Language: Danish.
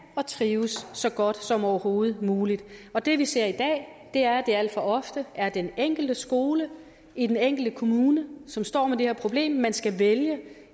og trives så godt som overhovedet muligt og det vi ser i dag er at det alt for ofte er den enkelte skole i den enkelte kommune som står med det her problem at man skal vælge